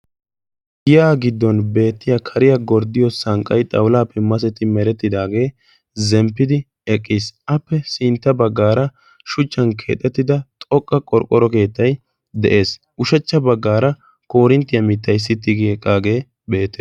giyaa giddon beettiya kariya gorddiyo sanqqai xaulaappi maseti merettidaagee zemppidi eqiis. appe sintta baggaara shuchchan keexettida xoqqa qorqporo keettai de'ees. ushachcha baggaara korinttiyaa mittay sitti geqqaagee beettees.